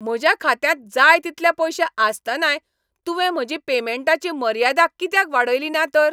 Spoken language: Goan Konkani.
म्हज्या खात्यांत जाय तितले पयशे आसतनाय तुवें म्हजी पेमॅन्टाची मर्यादा कित्याक वाडयली ना तर?